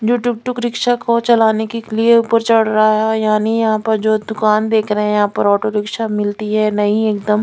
जो tuk tuk rickshaw को चलाने के लिए ऊपर चढ़ रहा है यानि यहाँ पर जो दुकान देख रहे है यहाँ पर ऑटो रिक्शा मिलती है नई एकदम।